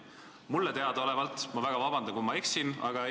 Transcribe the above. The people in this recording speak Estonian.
Mulle teadaolevalt – vabandust, kui ma eksin!